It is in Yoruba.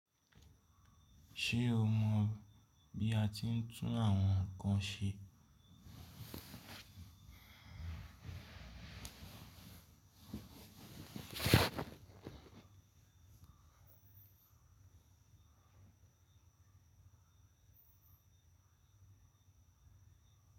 Ṣé o mọ bí a ti ń tún àwọn nǹkan ṣe?